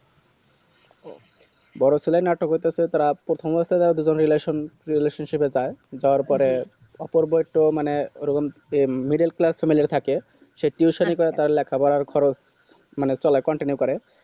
বড়ো ছেলে নাটক হইতেসে প্রাত প্রথমে তো দুজনে relation relation ship এ যায় যাওয়ার পরে অপূর্বর তো মানে ওরকম middile class family লির থাকে সে teusan ই করা তার লেখা পড়ার খরচ মানে চালা মানে continue করে